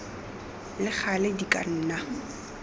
le gale di ka nna